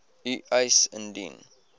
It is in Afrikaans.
u eis indien